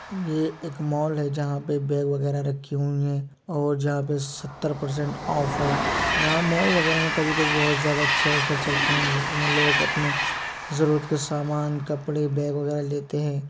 ये एक मॉल है जहाँ पे बैग वगेरा रखे हुए हैं और जहाँ पे सत्तर परसेंट ऑफ है। यहाँ मॉल वगेरा में कभी-कभी बहुत ज्यादा अच्छे ऑफर्स चलते हैं जिसमें लोग अपने जरूरत का सामान कपड़े बैग वगेरा लेते हैं।